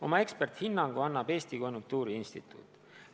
Oma eksperdihinnangu annab Eesti Konjunktuuriinstituut.